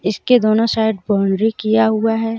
इसके दोनों side boundary किया हुआ है।